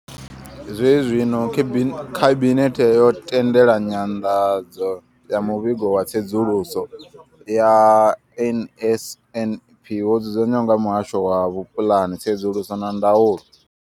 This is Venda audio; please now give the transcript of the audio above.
Zwenezwino, khabinethe yo tendela nyanḓadzo ya muvhigo wa tsedzuluso ya NSNP wo dzudzanywaho nga muhasho wa vhupuḽani, tsedzuluso na ndaulo.